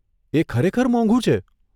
એ ખરેખર મોંઘુ છે.